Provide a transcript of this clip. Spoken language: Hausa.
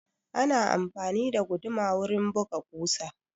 Ana amfani da guduma wurin buga ƙusa.